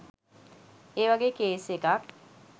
ඒවගේ කේස් එකක්